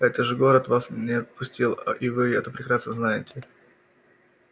это же город вас не отпустил и вы это прекрасно знаете